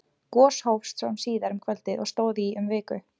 gos hófst svo síðar um kvöldið og stóð í um viku